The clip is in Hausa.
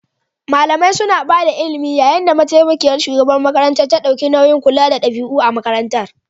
Malamai suna ba da ilimi yayin da mataimakiyar shugabar ta ɗauki nauyin kula da ɗabi'u a makarantar.